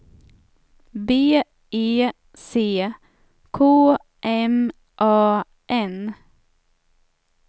B E C K M A N